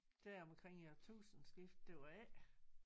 Deromkring æ årtusindskifte det var ikke